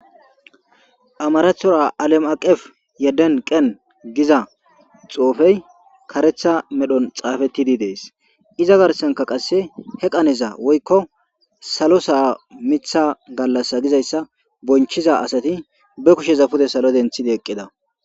amarathora alam'aqef yedden qen giza xuufey karetha medhon xaafettidi dees iza garsanka qasse he qaneza woykko salo saa mitha gallass gizayssa bonchiza asati be kusheza pude salo denthidi eqqida